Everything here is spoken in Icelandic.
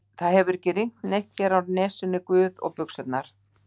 það hefur ekki rignt neitt hérna á Nesinu, guð, og buxurnar.